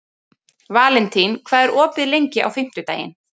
Valentín, hvað er opið lengi á fimmtudaginn?